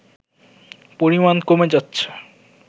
পরিমাণ কমে যাচ্ছে